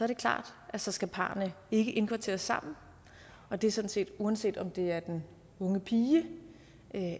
det klart at så skal parrene ikke indkvarteres sammen og det er sådan set uanset om det er den unge pige